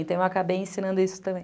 Então, eu acabei ensinando isso tam